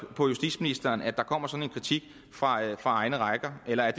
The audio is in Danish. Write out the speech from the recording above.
på justitsministeren at der kommer sådan en kritik fra egne rækker eller